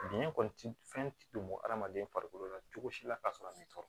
Biɲɛ kɔni ti fɛn ti don adamaden farikolo la cogo si la ka sɔrɔ ne tɔɔrɔ